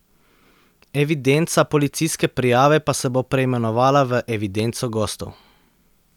Evidenca policijske prijave pa se bo preimenovala v evidenco gostov.